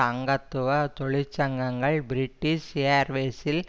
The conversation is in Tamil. அங்கத்துவ தொழிற்சங்கங்கள் பிரிட்டிஷ் ஏயர்வேஸில்